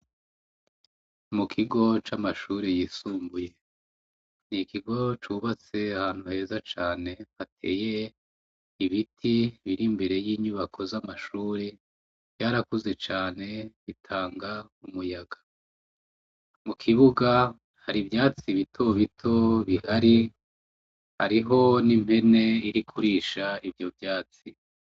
mu kigo c'amashuri yisumbuye n'ikigo cubatse ahantu heza cane hateye ibiti biri mbere y'inyubako z'amashuri vyarakuze cane bitanga umuyaga mu kibuga hari ivyatsi bito bito bihari hariho n'impene iri kurisha ivyo vyatsi